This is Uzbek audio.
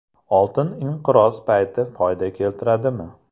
Oltin inqiroz payti foyda keltiradimi?